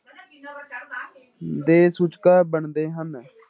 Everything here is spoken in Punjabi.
ਦੇ ਸੂਚਕ ਬਣਦੇ ਹਨ।